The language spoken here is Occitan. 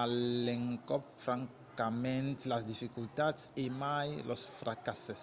a l'encòp francament las dificultats e mai los fracasses